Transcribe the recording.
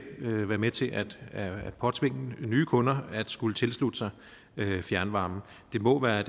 vil være med til at at påtvinge nye kunder at skulle tilslutte sig fjernvarme det må være